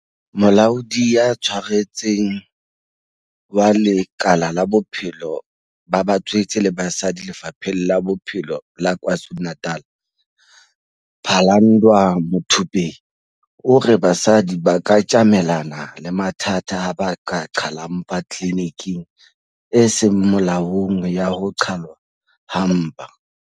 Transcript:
Molaodi ya Tshwaretseng wa lekala la Bophelo ba Batswetse le Basadi Lefapheng la Bophelo la KwaZulu-Natal, Phalanndwa Muthupei, o re basadi ba ka tjamelana le mathata ha ba qhala mpa tliliniking e seng molaong ya ho qhalwa ha mpa.